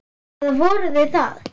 Eða voru þeir það?